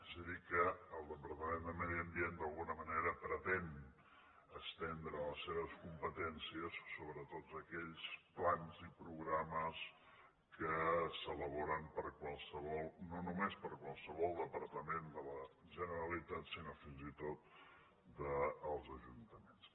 és a dir que el departament de medi ambient d’alguna manera pretén estendre les seves competències sobre tots aquells plans i programes que s’elaboren no només per qualsevol departament de la generalitat sinó fins i tot dels ajuntaments